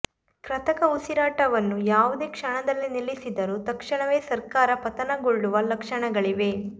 ಕೃತಕ ಉಸಿರಾಟವನ್ನು ಯಾವುದೇ ಕ್ಷಣದಲ್ಲಿ ನಿಲ್ಲಿಸಿದರೂ ತಕ್ಷಣವೇ ಸರ್ಕಾರ ಪಥನಗೊಳ್ಳುವ ಲಕ್ಷಣಗಳಿವೆ